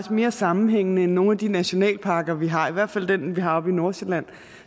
mere sammenhængende end nogen af de nationalparker vi har i hvert fald den vi har oppe i nordsjælland